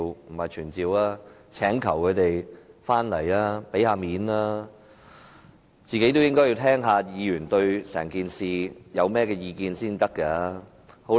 不是傳召，是請求他們出席會議，給些面子，他們也應該聽聽議員對整件事的意見。